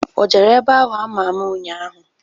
O jere ebe ahụ ama ama ụnyaahụ?